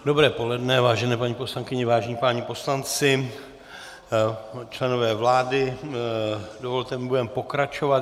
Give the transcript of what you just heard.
Dobré poledne, vážené paní poslankyně, vážení páni poslanci, členové vlády, dovolte mi, budeme pokračovat.